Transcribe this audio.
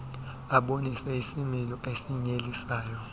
abonise isimilo esinyelisayo